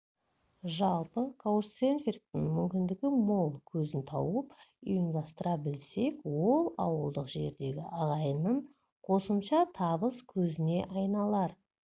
жалпы каучсерфингтің мүмкіндігі мол көзін тауып ұйымдастыра білсек ол ауылдық жердегі ағайынның қосымша табыс көзіне айналар